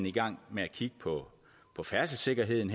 i gang med at kigge på på færdselssikkerheden